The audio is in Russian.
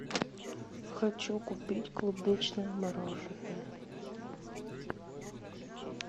хочу купить клубничное мороженое